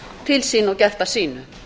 til sín og gert að sínu